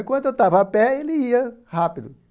Enquanto eu estava a pé, ele ia rápido.